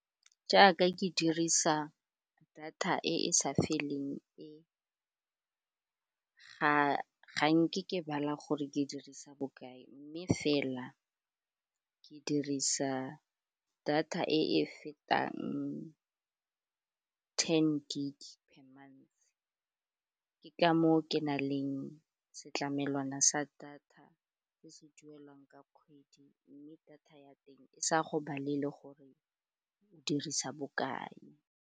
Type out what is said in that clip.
Jaaka ke dirisa data e e sa feleng e ga nke ke bala gore ke dirisa bokae mme fela ke dirisa data e e fetang ten gig per month, ke ka moo ke na leng setlamelwana sa data se se duelwang ka kgwedi mme data ya teng e sa go balele gore o dirisa bokae.